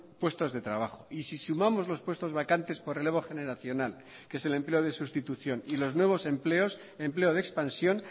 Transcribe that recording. puestos de trabajo y si sumamos los puestos vacantes por relevo generacional que es el empleo de sustitución y los nuevos empleos empleo de expansión